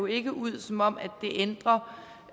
ikke ud som om det ændrer